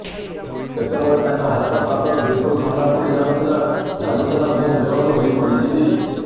କେତେବେଳେ ତ ହାତ ପାଦ ବିଲକୁଲ ଥଣ୍ଡା ପଡ଼ି ଯାଉଥିଲା ଲାଗୁଥିଲା ମୁଁ ବେହୋସ ହୋଇ ପଡ଼ିଯିବି